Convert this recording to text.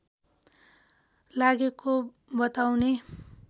लागेको बताउने